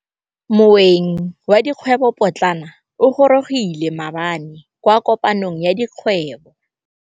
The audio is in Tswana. Moêng wa dikgwêbô pôtlana o gorogile maabane kwa kopanong ya dikgwêbô.